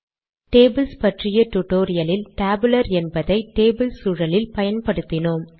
tables பற்றிய டுடோரியலில் tabular என்பதை டேபிள் சூழலில் பயன்படுத்தினோம்